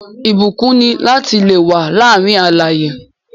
Ìbúkún ni lati le wà láàárín alààyè